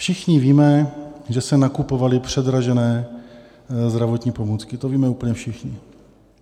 Všichni víme, že se nakupovaly předražené zdravotní pomůcky, to víme úplně všichni.